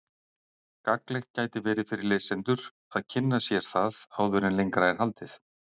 Gagnlegt gæti verið fyrir lesendur að kynna sér það áður en lengra er haldið.